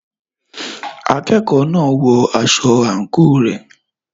Akẹ́kọ̀ọ́ náà ń wọ aṣọ àǹkóò rẹ̀.